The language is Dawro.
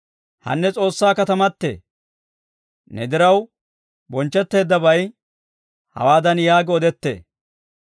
Hanee S'oossaa katamatee, ne diraw bonchchetteeddabay, hawaadan yaagi odettee: